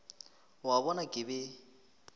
o a bona ke be